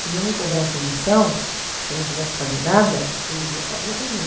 Se não me cobrassem lição, se eu não tivesse que fazer nada, eu iria para a rua também.